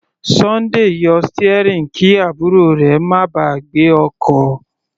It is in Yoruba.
Sunday yọ steering kí àbúrò rẹ̀ má ba à gbé ọkọ̀.